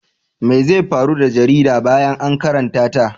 Me zai faru da jarida bayan an karanta ta?